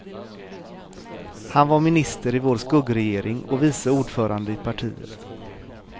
Han var minister i vår skuggregering och vice ordförande i partiet.